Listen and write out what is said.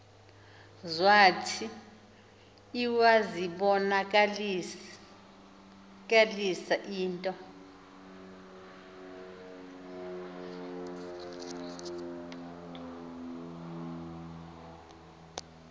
zwathi iwazibonakalisa into